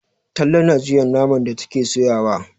Talle na juya naman da take soyawa.